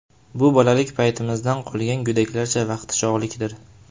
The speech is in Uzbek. Bu bolalik paytimizdan qolgan go‘daklarcha vaqtichog‘likdir.